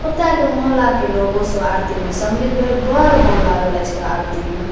ओता के मोहल्ला के लोगो सब आरती में सम्मिलित भेल बड़ मन लागले छे आरती में |